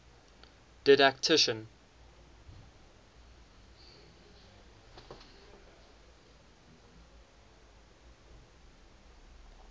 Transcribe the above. didactician